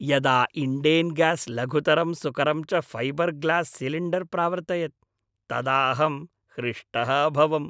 यदा Indane gas लघुतरं सुकरं च फ़ैबर् ग्लास् सिलिण्डर् प्रावर्तयत् तदाहं हृष्टः अभवम्।